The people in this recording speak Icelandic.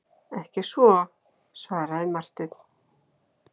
Ekki svo, svaraði Marteinn.